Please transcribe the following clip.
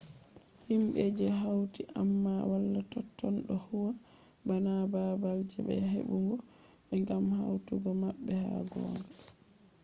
himbe je hauti amma wala totton do huwa bana babal je be hebugo be gam hautugo mabbe ha gonga